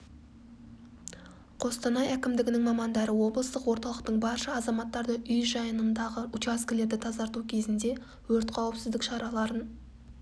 қостанай әкімдігінің мамандары облыстық орталықтың барша азаматтарды үй жанындағы учаскілерді тазарту кезінде өрт қауіпсіздік шараларын